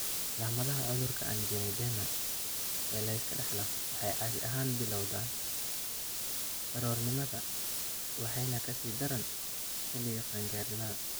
Calaamadaha cudurka anjioedema ee la iska dhaxlo waxay caadi ahaan bilowdaan carruurnimada waxayna ka sii daraan xilliga qaan-gaarnimada.